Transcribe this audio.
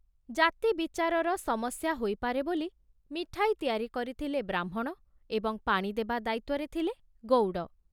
ଜାତି ବିଚାରର ସମସ୍ୟା ହୋଇପାରେ ବୋଲି ମିଠାଇ ତିଆରି କରିଥିଲେ ବ୍ରାହ୍ମଣ ଏବଂ ପାଣି ଦେବା ଦାୟିତ୍ଵରେ ଥିଲେ ଗଉଡ଼।